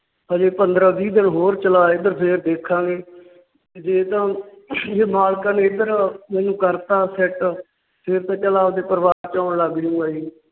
ਹਜੇ ਪੰਦਰਾਂ ਵੀਹ ਦਿਨ ਹੋਰ ਚਲਾ ਇੱਧਰ ਫੇਰ ਦੇਖਾਂਗੇ। ਜੇ ਤਾਂ ਮਾਲਕਾਂ ਨੇ ਇੱਧਰ ਮੈਨੂੰ ਕਰਤਾ fit ਫਿਰ ਤਾਂ ਚੱਲ ਆਪਦੇ ਪਰਿਵਾਰ ਚ ਆਉਣ ਲੱਗ ਜੂੰਗਾ ਜੀ।